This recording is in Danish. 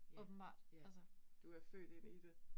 Ja, ja. Du er født ind i det